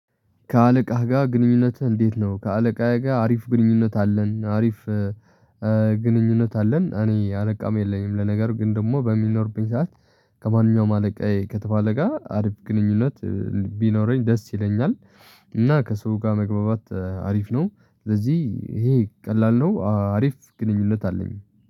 ከአለቃህ ጋር ግንኙነትህ እንዴት ነው? ከአለቃዬ ጋር አሪፍ ግንኙነት አለን አሪፍ ግንኙነት አለን። እኔ አለቃም የለኝም። ለነገሩ ግን ደግሞ በሚኖርብኝ ሰዓት ከማንኛውም አለቃዬ ከተባለ ጋር አሪፍ ግንኙነት ቢኖረኝ ደስ ይለኛል። እና ከሰው ጋር መግባባት አሪፍ ነው። ስለዚህ ይሄ ቀላል ነው አሪፍ ግንኙነት አለኝ